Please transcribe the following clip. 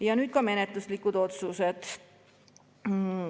Ja nüüd ka menetluslikud otsused.